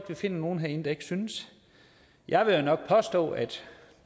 kan finde nogen herinde der ikke synes jeg vil jo nok påstå at